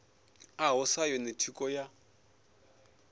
ḽaho sa yone thikho ya